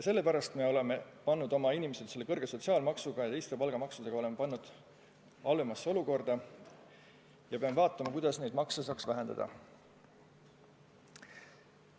Seega me oleme pannud oma inimesed kõrge sotsiaalmaksuga ja teiste palgamaksudega halvemasse olukorda ja peame vaatama, kuidas neid makse saaks vähendada.